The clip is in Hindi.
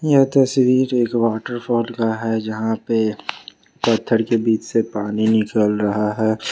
यह तस्वीर एक वॉटरफॉल का है जहां पे पत्थर के बीच से पानी निकल रहा है।